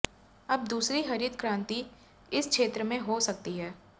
अब दूसरी हरित क्रांति इस क्षेत्र में हो सकती है